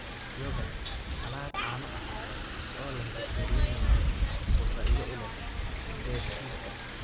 Yogurt: Alaab caano ah oo leh bakteeriyada nool oo faa'iido u leh dheefshiidka.